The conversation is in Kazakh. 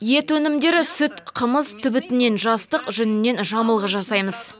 ет өнімдері сүт қымыз түбітінен жастық жүнінен жамылғы жасаймыз